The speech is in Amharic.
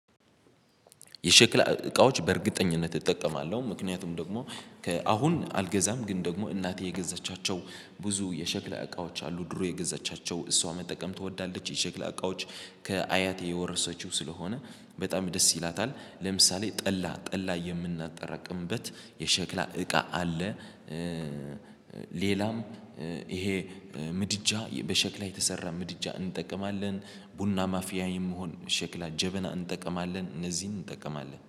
የሸክላ እቃዎች በእርግጠኝነት እጠቀማለሁ ምክንያቱም ደግሞ ከአሁን አልገዛም ግን ደግሞ እናቴ የገዛቻቸው ብዙ የሸክላ እቃዎች አሉ ድሮ የገዛቻቸው እሷ መጠቀም ትወዳለች የሸክላ እቃዎች ከአያቴ የወረሰችው ስለሆነ በጣም ደስ ይላታል ለምሳሌ ጠላ ጠላ የምናጠራቅምበት የሸክላ እቃ አለ። ሌላም ይሄ ምድጃ በሸክላ የተሰራ ምድጃ እንጠቀማለን። ቡና ማፊያ የምሆን ሸክላ ጀበና እንጠቀማለን እነዚህን እንጠቀማለን